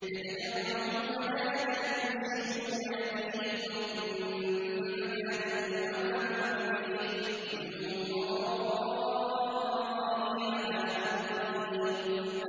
يَتَجَرَّعُهُ وَلَا يَكَادُ يُسِيغُهُ وَيَأْتِيهِ الْمَوْتُ مِن كُلِّ مَكَانٍ وَمَا هُوَ بِمَيِّتٍ ۖ وَمِن وَرَائِهِ عَذَابٌ غَلِيظٌ